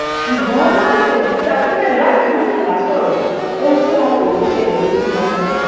ṣùgbọn lọjọ kejì tí akinlelo àti murtala sọrọ ohun tí wọn kò rò ṣẹlẹ lójúmọmọ